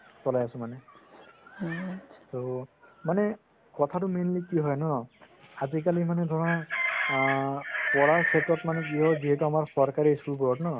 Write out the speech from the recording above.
চলাই আছো মানে ত মানে কথাটো mainly কি হয় ন আজিকালে মানে ধৰা পঢ়াৰ ক্ষেত্ৰ কি হল যিহেতু আমাৰ চৰকাৰি school বোৰৰ ন